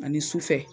Ani sufɛ